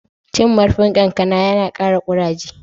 Cin marfin kankana ya na kare kuraje.